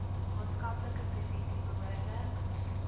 maatskaplike posisie behoorlik